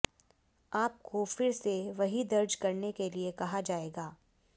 आपको फिर से वही दर्ज करने के लिए कहा जाएगा